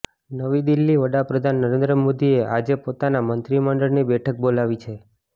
નવી દિલ્હીઃ વડાપ્રધાન નરેન્દ્ર મોદીએ આજે પોતાના મંત્રીમંડળની બેઠક બોલાવી છે